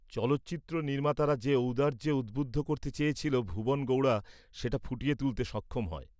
চলচ্চিত্র নির্মাতারা যে ঔদার্যে উদ্বুদ্ধ করতে চেয়েছিল ভুবন গৌড়া সেটা ফুটিয়ে তুলতে সক্ষম হয়।